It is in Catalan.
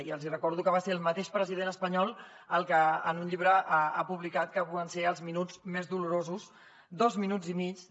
i els hi recordo que va ser el mateix president espanyol el que en un llibre ha publicat el que van ser els minuts més dolorosos dos minuts i mig